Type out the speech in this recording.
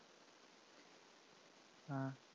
ആ